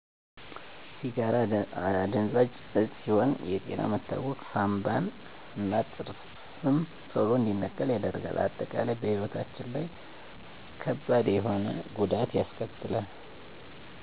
ሲጋራ አደንዛዥ እጽ ሲሆን የጤና መታወክ ሳንባን እና ጥርም ቶሎ እንዲነቃቀሉ ያደርጋል